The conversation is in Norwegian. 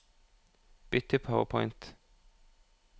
Bytt til PowerPoint